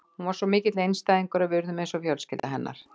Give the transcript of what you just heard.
Hún var svo mikill einstæðingur og við urðum eins og fjölskylda hennar.